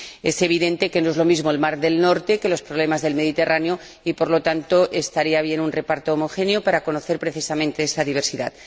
Es evidente que no es lo mismo el Mar del Norte que los problemas del Mediterráneo y, por lo tanto, estaría bien un reparto homogéneo para conocer, precisamente, esa diversidad.